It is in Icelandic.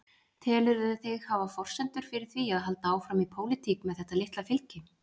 Telurðu þig hafa forsendur fyrir því að halda áfram í pólitík með þetta litla fylgi?